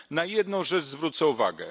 Na jedną rzecz zwrócę uwagę.